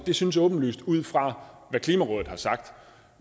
synes åbenlyst ud fra hvad klimarådet har sagt